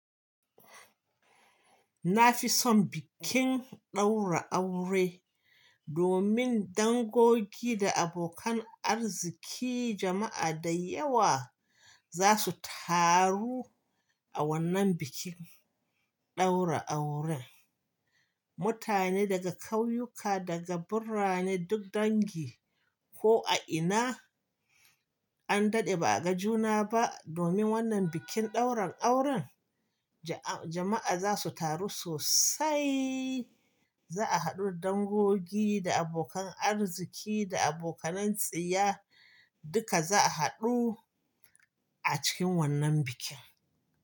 Na fi son bikin ɗaura aure domin dangogi da abokan arziki jama'a da yawa za su taru a wannan bikin ɗaura auren. Mutane daga ƙauyuka, daga birane duk dangi ko a ina an daɗe ba a ga juna ba domin wannan bikin ɗaurin auren jama'a za su taru sosai. Za a haɗu dangogi da abokan arziki da abokanan tsiya duka za a haɗu a cikin wannan bikin.